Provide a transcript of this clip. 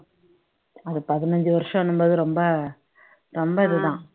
அது பதினஞ்சு வருஷம் என்னும் போது ரொம்ப ரொம்ப இதுதான்